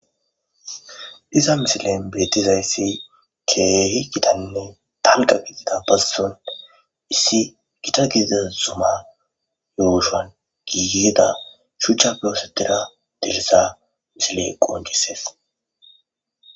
Iza misilan betizaysi keehi gitane dalga gidida bazon issi gita gidiza zuma yushuwan gigida shuchape osetida dirisa misile qonc'ses.